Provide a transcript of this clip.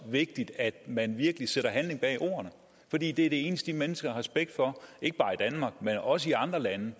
vigtigt at man virkelig sætter handling bag ordene for det er det eneste de mennesker har respekt for ikke bare i danmark men også i andre lande